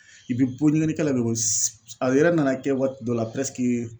I bɛ bɔ ɲɛgɛnnikɛla bɛ bɔ a yɛrɛ nana kɛ waati dɔ la